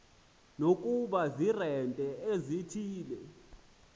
nokuba ziiremente ezithile